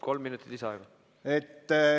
Kolm minutit lisaaega!